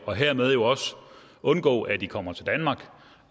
og hermed også undgå at de kommer til danmark